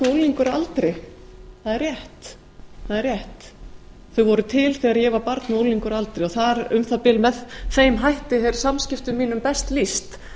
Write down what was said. unglingur að aldri það er rétt sem voru til þegar ég var barn og unglingur að aldri og um það bil með þeim hætti er samskiptum mínum best lýst